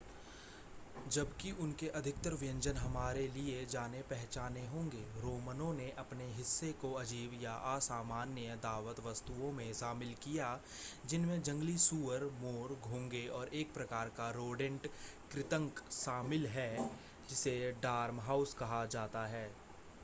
जबकि उनके अधिकतर व्यंजन हमारे लिए जाने-पहचाने होंगे रोमनों ने अपने हिस्से को अजीब या असामान्य दावत वस्तुओं में शामिल किया जिनमें जंगली सूअर मोर घोंघे और एक प्रकार का रोडेंट कृंतक शामिल है जिसे डॉर्महाउस कहा जाता है